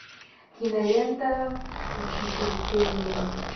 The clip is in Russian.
кинолента учитель пения